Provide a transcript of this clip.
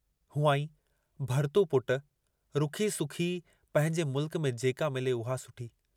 हुआईं भरतू पुट रुखी सुखी पंहिंजे मुल्क में जेका मिले उहा सुठी।